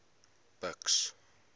buks